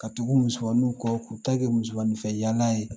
Ka tugu musomaninw kɔ k'u ta kɛ musomaninfɛ yaala ye